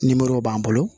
Nimoro b'an bolo